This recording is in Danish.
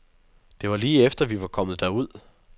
Det var lige efter, vi var kommet derud.